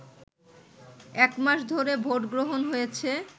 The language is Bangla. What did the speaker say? একমাস ধরে ভোটগ্রহণ হয়েছে